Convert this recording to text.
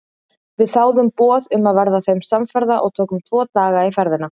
Við þáðum boð um að verða þeim samferða og tókum tvo daga í ferðina.